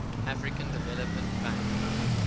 african development bank